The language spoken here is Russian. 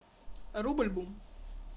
рубль бум